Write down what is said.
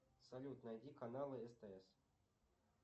салют найди каналы стс